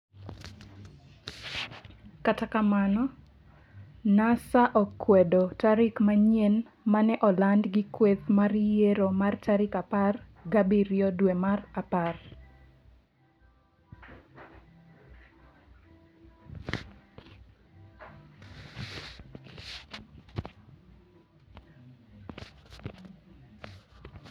Kata kamano Nasa okwedo tarik manyien mane oland gi kweth mar yiero mar tarik apar gi abiriyo dwe mar apar.